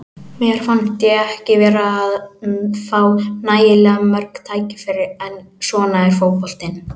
Mér fannst ég ekki vera að fá nægilega mörg tækifæri, en svona er fótboltinn.